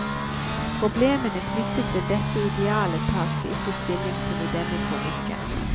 Problemene knyttet til dette idealet tas det ikke stilling til i denne kronikken.